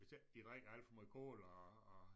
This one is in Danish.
Hvis ikke de drikker alt for måj cola og og